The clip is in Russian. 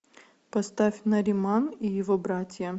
поставь нариман и его братья